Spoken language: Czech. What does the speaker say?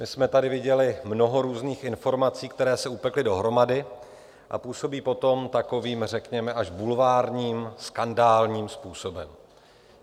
My jsme tady viděli mnoho různých informací, které se upekly dohromady a působí potom takovým řekněme až bulvárním, skandálním způsobem.